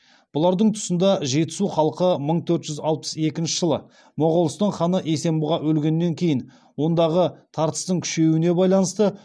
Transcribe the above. бұлардың тұсында жетісу халқы мың төрт жүз алпыс екінші жылы моғолстан ханы есенбұға өлгеннен кейін ондағы тартыстың күшеюіне байланысты